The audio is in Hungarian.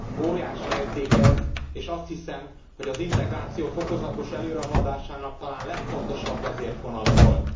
Óriási érték ez, és azt hiszem, hogy az integráció fokozatos előrehaladásának talán legfontosabb vezérfonala volt.